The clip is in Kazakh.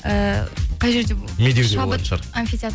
ыыы қай жерде медеуде болатын шығар шабыт анфитеатр